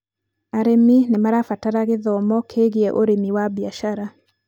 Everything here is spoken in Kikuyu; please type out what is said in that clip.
arĩmi nĩ marabatara gĩthomo kĩgiĩ ũrĩmi wa biacara